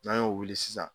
N'an y'o wuli sisan